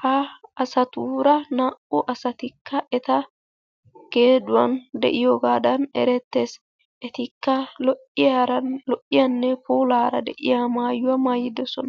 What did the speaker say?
Ha asatuura naa"u asatikka eta geeduwan de'iyogaasan erettees. Etikka lo"iyaran lo"iyanne puulaara de'iya maayuwa maayidosona.